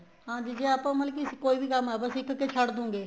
ਹਾਂਜੀ ਦੀਦੀ ਆਪਾਂ ਮਤਲਬ ਕੀ ਕੋਈ ਵੀ ਕੰਮ ਸਿੱਖਕੇ ਛੱਡ ਦੋ ਗਏ